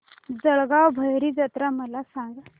जळगाव भैरी जत्रा मला सांग